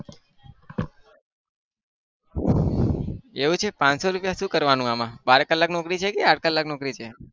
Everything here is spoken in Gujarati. એવું છે પાંચસો રૂપિયાનું શું કરવાનું આમાં? બાર કલાક નોકરી છે કે આંઠ કલાક નોકરી છે?